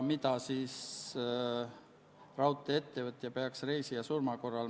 Muudatusettepanekuid eelnõu kohta esitatud ei ole.